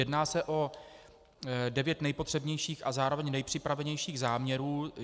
Jedná se o devět nejpotřebnějších a zároveň nejpřipravenějších záměrů.